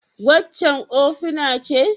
Waccan ofina ce?